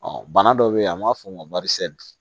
bana dɔ bɛ yen an b'a fɔ o ma